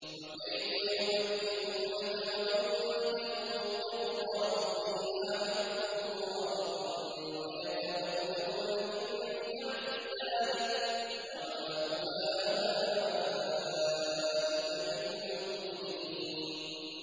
وَكَيْفَ يُحَكِّمُونَكَ وَعِندَهُمُ التَّوْرَاةُ فِيهَا حُكْمُ اللَّهِ ثُمَّ يَتَوَلَّوْنَ مِن بَعْدِ ذَٰلِكَ ۚ وَمَا أُولَٰئِكَ بِالْمُؤْمِنِينَ